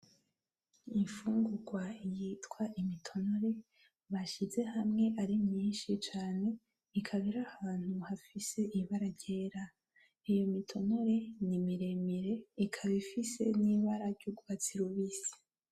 Imfugungwa yitwa imitonore bashize hamwe ari myinshi cane, ikaba irahantu hafise ibara ryera. Iyi mitonore ni miremire ikaba ifise n'ibara ry'urwatsi rubisi.